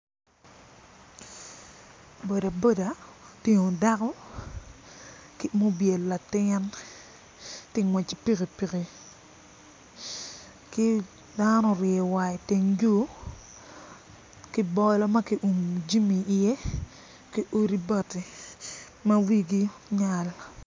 Boda boda otingo dako ma obyelo latin ti ngwec ki pikipiki ki dano oryeyo war iteng yo ki bolo ma kiumo jami iye ki odi bati ma wigi tye nyal.